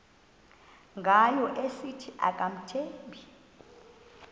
ngayo esithi akamthembi